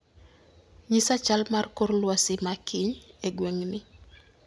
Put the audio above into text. Ng'isa chal mar kor lwasi ma kiny e gweng'ni